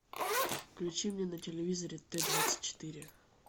включи мне на телевизоре т двадцать четыре